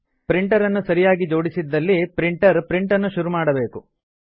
printer ಅನ್ನು ಸರಿಯಾಗಿ ಜೋಡಿಸಿದ್ದಲ್ಲಿ ಪ್ರಿಂಟರ್ ಪ್ರಿಂಟನ್ನು ಶುರು ಮಾಡಬೇಕು